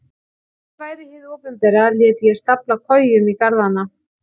Ef ég væri hið opinbera léti ég stafla kojum í garðana.